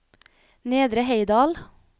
Nedre Heidal